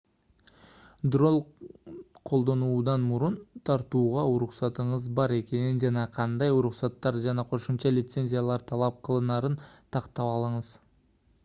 дрон колдонуудан мурун тартууга уруксатыңыз бар экенин жана кандай уруксаттар жана кошумча лицензиялар талап кылынарын тактап алыңыз